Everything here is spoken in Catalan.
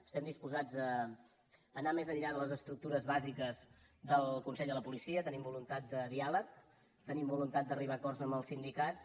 estem disposats a anar més enllà de les estructures bàsiques del consell de la policia tenim voluntat de diàleg tenim voluntat d’arribar a acords amb els sindicats